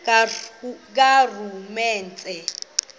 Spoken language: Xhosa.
karhulumente